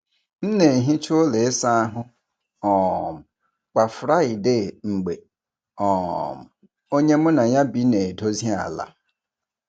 M na-ehicha ụlọ ịsa ahụ um kwa Friday mgbe um onye mụ na ya bi na-edozi ala.